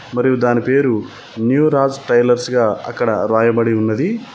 మరియు దాని పేరు న్యూ రాజ్ టైలర్స్ గా అక్కడ రాయబడి ఉన్నది.